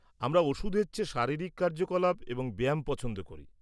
-আমরা ওষুধের চেয়ে শারীরিক কার্যকলাপ এবং ব্যায়াম পছন্দ করি।